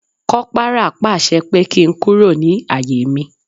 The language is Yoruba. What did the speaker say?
Kopara pàṣẹ pé kí n kúrò ní àyè mi